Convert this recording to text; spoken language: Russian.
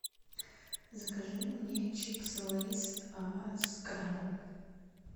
закажи мне чипсы лейс с крабом